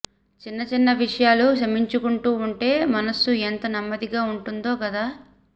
చిన్నచిన్న విషయాలు క్షమించుకుంటూ ఉంటే మనస్సు ఎంత నెమ్మదిగా ఉంటుందో గదా